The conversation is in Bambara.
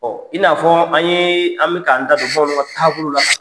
i n'a fɔ an ye an bɛ k'an da don bamananw ka taabolow la